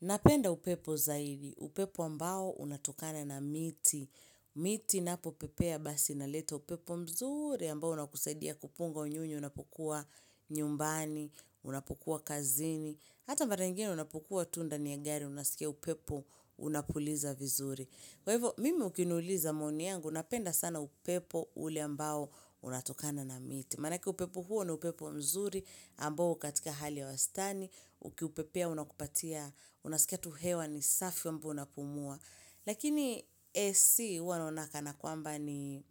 Napenda upepo zaidi, upepo ambao unatokana na miti. Miti napopepea basi inaleta upepo mzuri ambao unakuseidia kupunga unyuni, unapokua nyumbani, unapokua kazini. Hata mara nyingine unapokua tunda ni ya gari, unasikia upepo unakuliza vizuri. Kwa hivyo, mimi ukinuliza maoni yangu, unapenda sana upepo ule ambao unatokana na miti. Manakieupepo huo ni upepo mzuri, ambo ukatika hali ya wastani, ukiupepea unakupatia, unaskatu hewa ni safi wambu unapumua. Lakini AC huwanoonaka na kwamba ni